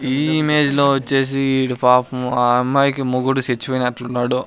ఈ ఇమేజ్ లో వచ్చేసి ఈడు పాపం ఆ అమ్మాయి కి మొగుడు సెచ్చిపోయినట్లున్నాడు.